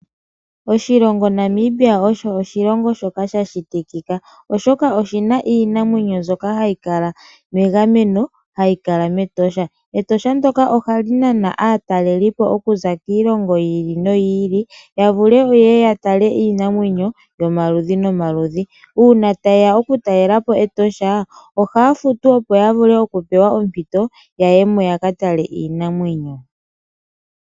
Oshilongo Namibia osho oshilongo shoka sha shitikika oshoka oshina iinamwenyo mbyoka hayi kala megameno hayi kala metosha. Etosha ndoka ohali nana aataleli po okuza kiilongo yi ili noyi ili yavule woo yeye yatale iinamwenyo yomaludhi nomaludhi. Uuna ta yeya oku talelapo Etosha ohaya futu opo yavule okupewa ompito yayemo yaka tale iinamwenyo.